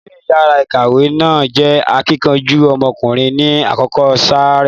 Olóyè yàrá ìkàwé náà jẹ́ akíkanjú ọmọkùnrin ni àkókò sáà rẹ̀.